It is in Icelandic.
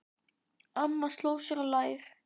Amma sló sér á lær.